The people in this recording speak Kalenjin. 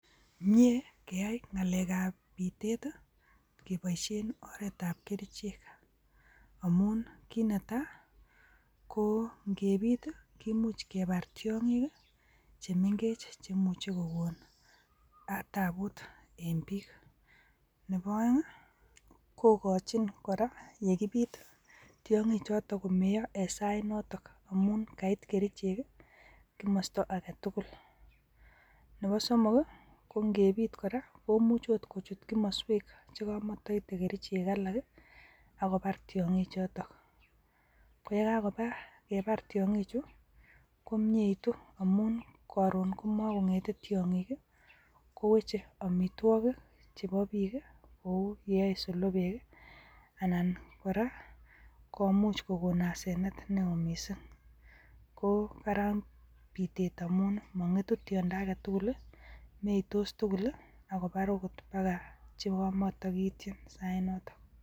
Mie keyai ngalekab bitet keboishien oretab kerichek, amun kit netai ko ingebiit i,kibuuch kebar tiongiik che mengech cheimuche kokon tabuut en biik. Nebo oeng i, kokochin kora yekibiit tiongichotok en sainotok amun kait kerichek komosto agetugul. Nebo somok i,kongebiit kora komuch ot koit kimoswek chekomotoite kerichek alak akobaar tiongichotok. Koyekakobaar tiongichu komietu omun koron komokongetee tiongiik i, koweche amitwogiik chebo biik. Kou yeyoe solobek, anan kora komuch kokoon asenet newoo missing.ko kararan bitet amun mongetu tiondoo agetugul i meitos tugul akobar okot chekomotokiityiin sainotok.